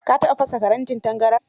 Ka taɓa fasa farantin tangaran?